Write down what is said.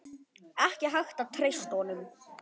Ekki hægt að treysta honum.